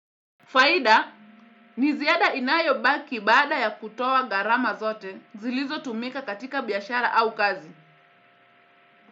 Faida, ni ziada inayobaki baada ya kutoa gharama zote zilizotumika katika biashara au kazi.